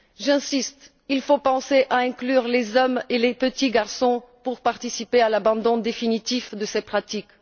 J'insiste, il faut penser à inclure les hommes et les petits garçons pour qu'ils participent à l'abandon définitif de ces pratiques.